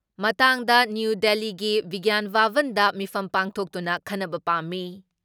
ꯃꯇꯥꯡꯗ ꯅ꯭ꯌꯨ ꯗꯤꯜꯂꯤꯒꯤ ꯕꯤꯒ꯭ꯌꯥꯟ ꯚꯕꯟꯗ ꯃꯤꯐꯝ ꯄꯥꯡꯊꯣꯛꯇꯨꯅ ꯈꯟꯅꯕ ꯄꯥꯝꯃꯤ ꯫